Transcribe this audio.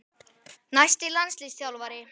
Næsti landsliðsþjálfari?